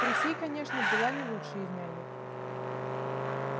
присей конечно была не лучшей из нянек